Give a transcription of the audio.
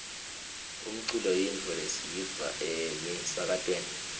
umculo yintfo lesiyiva emisakatweni